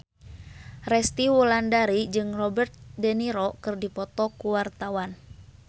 Resty Wulandari jeung Robert de Niro keur dipoto ku wartawan